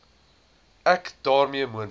ek daarmee moontlike